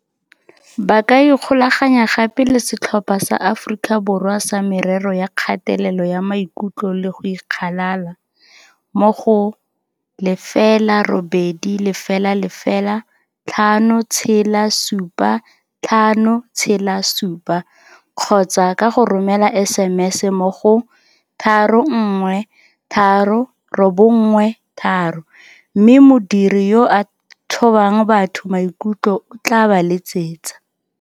Ba ka ikgolaganya gape le Setlhopha sa Aforika Borwa sa Merero ya Kgatelelo ya Maikutlo le go Ikgalala, mo go 0800 567 567 kgotsa ka go romela SMS mo go 31393 mme modiri yo a thobang batho maikutlo o tla ba letsetsa.